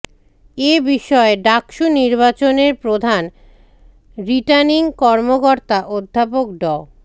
এ বিষয়ে ডাকসু নির্বাচনের প্রধান রিটার্নিং কর্মকর্তা অধ্যাপক ড